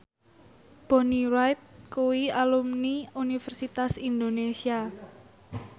Bonnie Wright kuwi alumni Universitas Indonesia